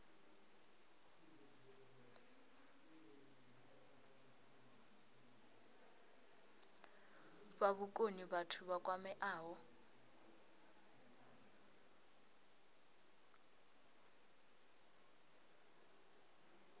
fha vhukoni vhathu vha kwameaho